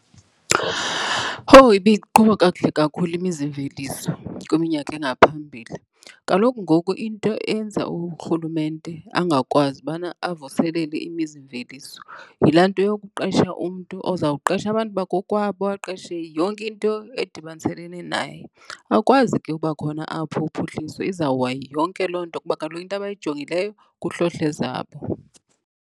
Owu, ibiqhuba kakuhle kakhulu imizimveliso kwiminyaka engaphambili. Kaloku ngoku into eyenza uRhulumente angakwazi ubana avuselele imizimveliso yilaa nto yokuqesha umntu oza kuqesha abantu bakokwabo, aqeshe yonke into edibaniselene naye. Akwazi ke ukuba khona apho uphuhliso. Izawuwa yonke loo nto kuba kaloku into abayijongileyo kuhlohla ezabo.